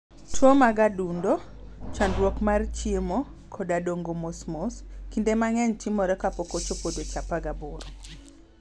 Tuwo mag adundo, chandruok mar chiemo, koda dongo mos mos, kinde mang'eny timore kapok ochopo dweche 18.